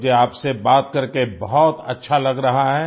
मुझे आप से बात करके बहुत अच्छा लग रहा है